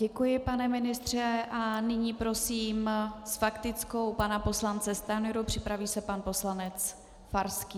Děkuji, pane ministře, a nyní prosím s faktickou pana poslance Stanjuru, připraví se pan poslanec Farský.